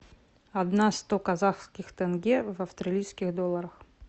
одна сто казахских тенге в австралийских долларах